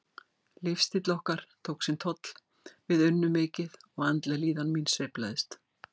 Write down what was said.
Lífsstíll okkar tók sinn toll, við unnum mikið og andleg líðan mín sveiflaðist.